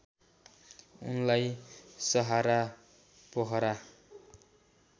उनलाई सहारा पोखरा